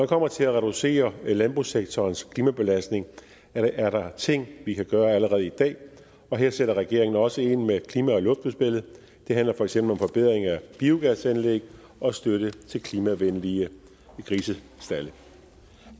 kommer til at reducere landbrugssektorens klimabelastning er der ting vi kan gøre allerede i dag og her sætter regeringen også ind med klima og luftudspillet det handler for eksempel om forbedring af biogasanlæg og støtte til klimavenlige grisestalde